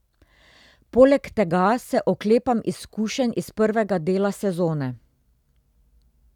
Poleg tega se oklepam izkušenj iz prvega dela sezone.